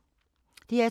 DR2